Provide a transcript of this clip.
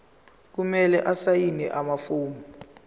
kumele asayine amafomu